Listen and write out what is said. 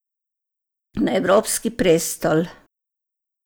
Na evropski prestol.